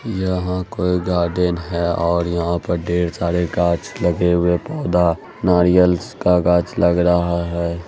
यहाँ पर गार्डन है और यहाँ पर ढेर सारे गाछ लगे हुए पोधा नारियल्स का गाछ लग रहा है।